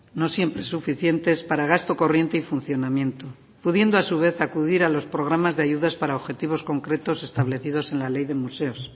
no siempre suficientes para gasto corriente y funcionamiento pudiendo a su vez acudir a los programas de ayudas para objetivos concretos establecidos en la ley de museos